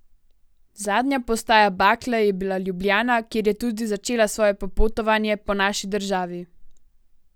Zadnja postaja bakle je bila Ljubljana, kjer je tudi začela svoje popotovanje po naši državi.